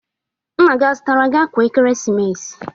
Nna gi zụtara gi akwa ekeresimesi?